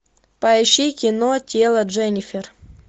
поищи кино тело дженнифер